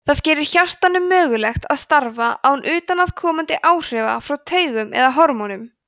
það gerir hjartanu mögulegt að starfa án utanaðkomandi áhrifa frá taugum eða hormónum